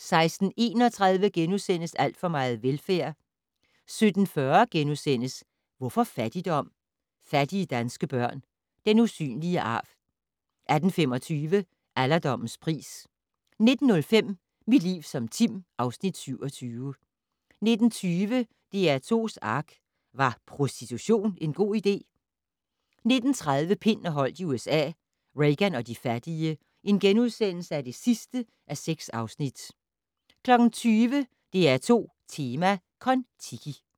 16:31: Alt for meget velfærd * 17:40: Hvorfor fattigdom? - Fattige danske børn - den usynlige arv * 18:25: Alderdommens pris 19:05: Mit liv som Tim (Afs. 27) 19:20: DR2's ARK - Var prostitution en god idé? 19:30: Pind og Holdt i USA - Reagan og de fattige (6:6)* 20:00: DR2 Tema: Kon-Tiki